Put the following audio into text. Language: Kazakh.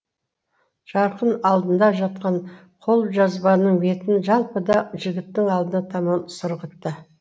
жарқын алдында жатқан қолжазбаның бетін жалпы да жігіттің алдына таман сырғытты